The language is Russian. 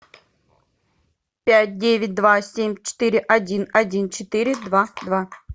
пять девять два семь четыре один один четыре два два